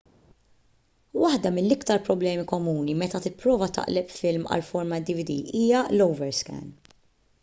waħda mill-iktar problemi komuni meta tipprova taqleb film għal format dvd hija l- overscan